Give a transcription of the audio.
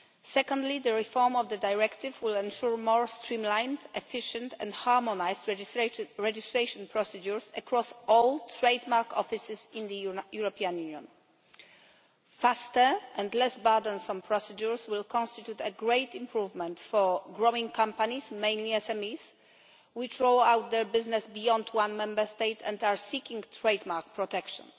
Secondly, the reform of the directive will ensure more streamlined, efficient and harmonised registration procedures across all trademark offices in the European Union. Faster and less burdensome procedures will constitute a great improvement for growing companies, mainly SMEs, which roll out their business beyond one Member State and are seeking trade mark protection.